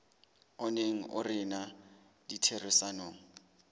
o neng o rena ditherisanong